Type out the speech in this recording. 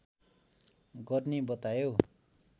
गर्ने बतायो